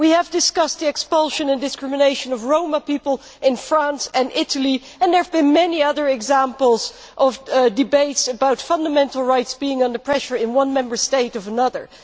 We have discussed the expulsion of and discrimination against Roma people in France and Italy, and there have been many other examples of debates about fundamental rights being under pressure in one Member State or another.